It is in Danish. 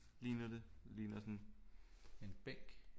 Ligner det ligner sådan en bænk